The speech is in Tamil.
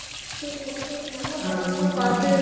சேரி , நல்ல college அ பார்த்ட்